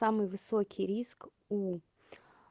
самый высокий риск у